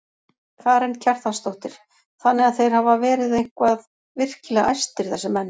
Karen Kjartansdóttir: Þannig að þeir hafa verið eitthvað virkilega æstir þessir menn?